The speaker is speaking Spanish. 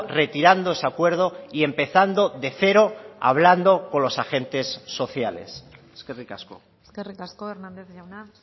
retirando ese acuerdo y empezando de cero hablando con los agentes sociales eskerrik asko eskerrik asko hernández jauna